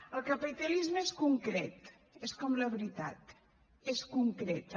el capitalisme és concret és com la veritat és concreta